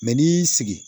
n'i y'i sigi